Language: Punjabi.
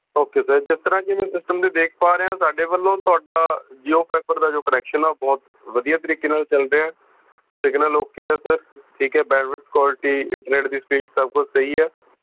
ok sir ਜਿਸ ਤਰਾਂ ਕਿ ਮੈਂ system ਤੇ ਦੇਖ ਪਾ ਰਿਹਾ ਹਾਂ ਸਾਡੇ ਵੱਲੋਂ ਤੁਹਾਡਾ jio fiber ਦਾ ਜੋ connection ਆ ਉਹ ਬਹੁਤ ਵਧੀਆ ਤਰੀਕੇ ਨਾਲ ਚੱਲ ਰਿਹਾ ਆ signal ok ਆ sir ਠੀਕ ਐ bandwidth qualityinternet ਦੀ ਸਪੀਡ ਸੱਭ ਕੁੱਝ ਸਹੀ ਆ